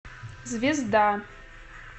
звезда